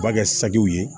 U b'a kɛ sakiw ye